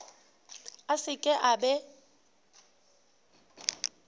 a se ke a be